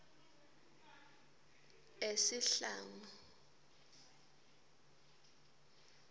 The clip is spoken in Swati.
esihlangu